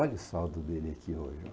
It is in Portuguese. Olha o saldo dele aqui hoje ó.